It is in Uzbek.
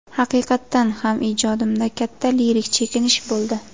Haqiqatan ham, ijodimda katta lirik chekinish bo‘ldi.